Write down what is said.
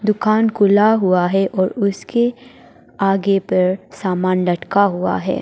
दुकान खुला हुआ है और उसके आगे पर सामान लटका हुआ है।